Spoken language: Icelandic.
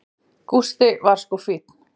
Gústi var sko fínn.